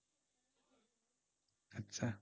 আচ্ছা।